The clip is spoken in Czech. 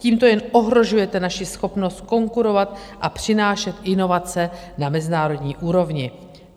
Tímto jen ohrožujete naši schopnost konkurovat a přinášet inovace na mezinárodní úrovni.